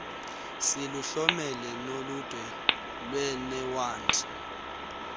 siluhlomele noludwe lweenewadi